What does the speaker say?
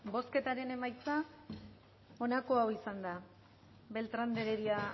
bozketan emaitza onako izan da beltrán de heredia